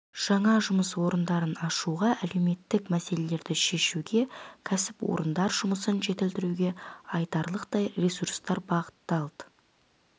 жаңа жұмыс орындарын ашуға әлеуметтік мәселелерді шешуге кәсіпорындар жұмысын жетілдіруге айтарлықтай ресурстар бағытталды